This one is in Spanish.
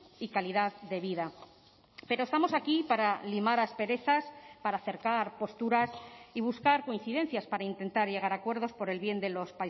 y calidad de vida pero estamos aquí para limar asperezas para acercar posturas y buscar coincidencias para intentar llegar a acuerdos por el bien de los